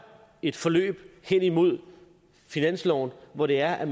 et forløb hen imod finansloven hvor der er